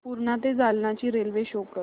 पूर्णा ते जालना ची railway show कर